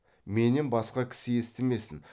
менен басқа кісі естімесін